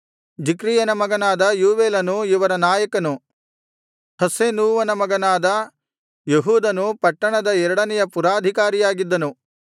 ಜಿಕ್ರಿಯನ ಮಗನಾದ ಯೋವೇಲನು ಇವರ ನಾಯಕನು ಹಸ್ಸೆನೂವನ ಮಗನಾದ ಯೆಹೂದನು ಪಟ್ಟಣದ ಎರಡನೆಯ ಪುರಾಧಿಕಾರಿಯಾಗಿದ್ದನು